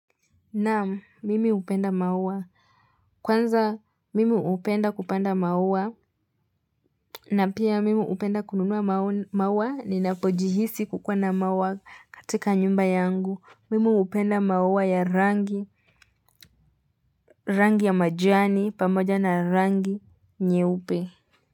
Naam, mimi upenda maua. Kwanza, mimi upenda kupanda maua. Na pia, mimi upenda kununua maua, ninapojihisi kukua na maua katika nyumba yangu. Mimi upenda maua ya rangi. Rangi ya majani pamoja na rangi nyeupe.